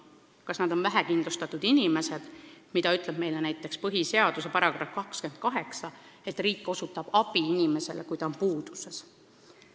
Kas nad on vähekindlustatud inimesed, kelle kohta käib põhiseaduse § 28, mis ütleb, et riik osutab abi inimestele, kes on puuduses?